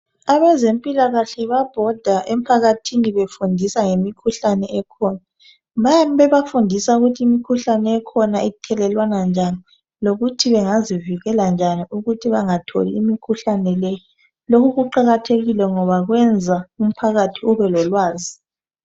Abezempilakahle babhoda emphakathini befundisa ngemikhuhlane ekhona. Bayabe bebafundisa ngokuthi imikhuhlane ekhona ithelelwana njani lokuthi bengazivikela njani ukuthi bengatholi imikhuhlane le. Lokhu kuqakathekile ngoba kwenza umphakathi ube lolwazi.